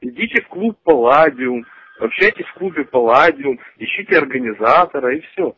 идите в клуб палладиум общайтесь в клубе палладиум ищите организатора и все